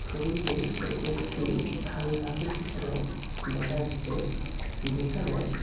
ছবিটিতে এটি একটি খালি বাসের চিত্র দেখা যাচ্ছে যেখানে--